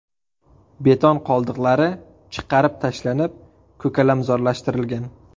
Beton qoldiqlari chiqarib tashlanib, ko‘kalamzorlashtirilgan.